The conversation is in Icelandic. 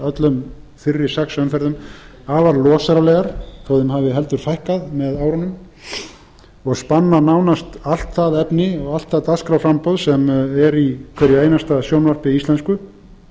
öllum fyrri sex umferðum afar losaralegar þó að þeim hafi heldur fækkað með árunum og spanna nánast all það efni og allt það dagskrárframboð sem er í hverju einasta sjónvarpi íslensku